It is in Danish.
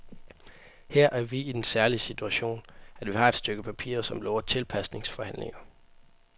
Her er vi i den særlige situation, at vi har et stykke papir, som lover tilpasningsforhandlinger.